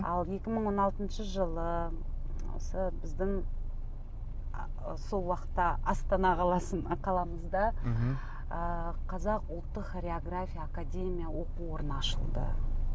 ал екі мың он алтыншы жылы осы біздің сол уақытта астана қаламызда мхм ы қазақ ұлттық хореография академия оқу орыяны ашылды